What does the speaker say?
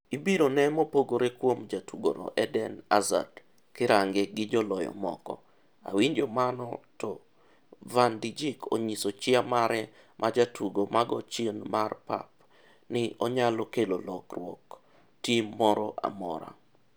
Ibiro ne mopogore kuom jatugomo Eden hazard kirange gi joloyo moko - awinjo mano-to Van Dijk onyiso chia mare maj jatugo magochien mar pap ni onyalo kelo lokruok tim moro amora.